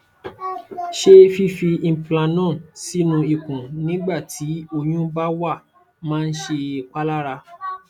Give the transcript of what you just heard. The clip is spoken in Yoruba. ṣé fífi implanon sínú ikùn nígbà tí oyún bá wà máa ń ṣèpalára